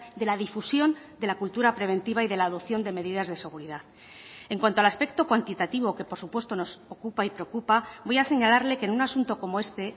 de la difusión de la cultura preventiva y de la adopción de medidas de seguridad en cuanto al aspecto cuantitativo que por supuesto nos ocupa y preocupa voy a señalarle que en un asunto como este